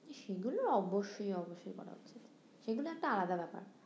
সেগুলো অবশ্যই অবশ্যই করা যায় সেগুলো একটা আলাদা ব্যাপার